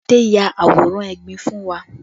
Adé ya àwòrán egbin fún wa